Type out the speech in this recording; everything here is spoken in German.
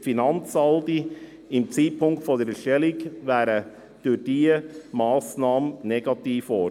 Die Finanzsaldi zum Zeitpunkt der Erstellung wären durch diese Massnahme negativ geworden.